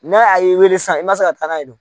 Na a ye i weele sisan i man se ka taa n'a ye dun?